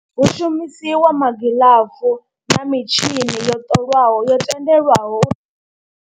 Hu shumisiwa magilafu na mitshini yo ṱolwaho yo tendelwaho.